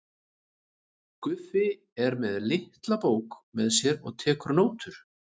Guffi er með litla bók með sér og tekur nótur.